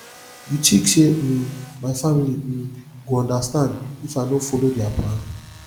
you tink sey um my family um go understand if i no folo their plan